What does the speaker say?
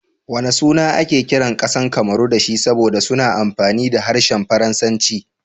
Wana suna ake kiran kasar Cameron da shi saboda suna amfani da harshen Faransanci?